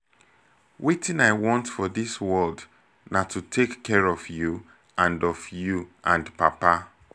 wetin i want for dis world na to take care of you and of you and papa